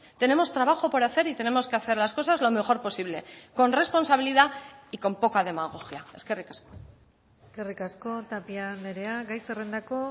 tenemos trabajo por hacer y tenemos que hacer las cosas lo mejor posible con responsabilidad y con poca demagogia eskerrik asko eskerrik asko tapia andrea gai zerrendako